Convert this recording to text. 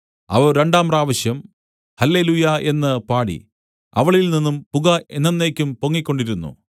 അവർ രണ്ടാം പ്രാവശ്യം ഹല്ലെലൂയ്യാ എന്ന് പാടി അവളിൽ നിന്നും പുക എന്നെന്നേക്കും പൊങ്ങിക്കൊണ്ടിരുന്നു